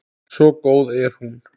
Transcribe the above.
Svo góð er hún.